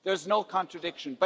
There is no contradiction.